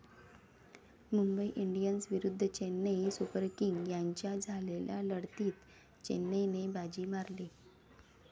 Mumbai Indians विरुद्ध Chennai Super Kings यांच्यात झालेल्या लढतीत चेन्नईने बाजी मारली.